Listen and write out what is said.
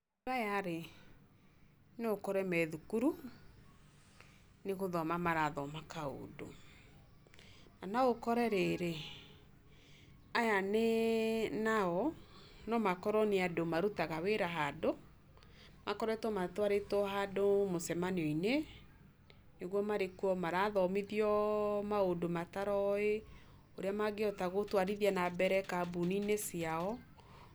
Andũ aya rĩ, noũkore methukuru, nĩgũthoma marathoma kaũndũ. Na noũkore rĩrĩ, aya nao, nomakorwo nĩ andũ marutaga wĩra handũ, makoretwo matwarĩtwo handũ mũcemanio-inĩ, nĩguo marekwo marathomithio maũndũ mataroĩ, ũrĩa mangĩhota gũtwarithia nambere kambuni-inĩ cia,